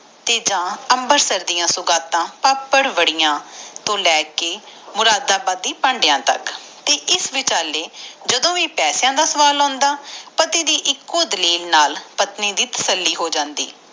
ਤੇ ਜਾ ਮਬਰਸਰ ਦਿੱਸੂਗਾਤਾ ਪਾਪੜਵਾਰਦੀਆਂ ਤੋਂ ਲੈ ਕੇ ਮੁਰਾਦ ਬੜੀ ਭੰਡਿਆ ਤਕ ਜਦੋ ਕੀਤੇ ਪੈਸਾ ਦਾ ਖ਼ਯਾਲ ਆਂਦਾ ਤਾ ਪਤੀ ਇਕ ਏਕੋ ਡਾਲੀਲਕ ਨਾਲ ਪਤਨੀ ਦੀ ਤਸੱਲੀ ਹੋ ਜਾਂਦੀ